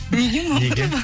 неге мамырова